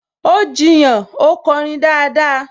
Ó jiyàn, 'ó kọrin dáadáa!